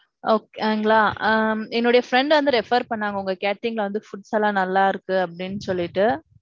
okay ங்களா. ஆ என்னோட friend வந்து refer பண்ணாங்க உங்க catering ல வந்து, foods எல்லாம் நல்லா இருக்கு அப்பிட்டிண்ணு சொல்லிட்டு.